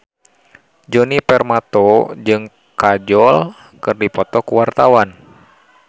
Djoni Permato jeung Kajol keur dipoto ku wartawan